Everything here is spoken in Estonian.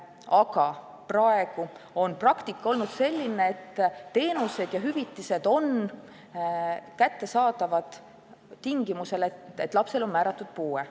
Aga praegune praktika on olnud selline, et teenused ja hüvitised on kättesaadavad tingimusel, et lapsele on määratud puue.